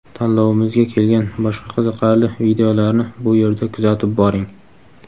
Tanlovimizga kelgan boshqa qiziqarli videolarni bu yerda kuzatib boring .